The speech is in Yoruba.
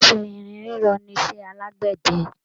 Iṣẹ́ irin rírọ nisẹ́ àlágbẹ̀dẹ